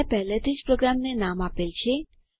મેં પહેલેથી જ પ્રોગ્રામને નામ આપેલ છે